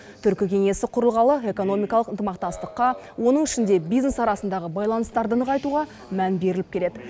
түркі кеңесі құрылғалы экономикалық ынтымақтастыққа оның ішінде бизнес арасындағы байланыстарды нығайтуға мән беріліп келеді